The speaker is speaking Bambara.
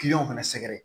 Kiliyanw fana sɛgɛrɛ